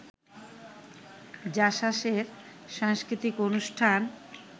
জাসাসের সাংস্কৃতিক অনুষ্ঠান